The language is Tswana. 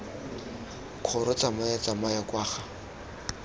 kgoro tsamaya tsamaya kwa ga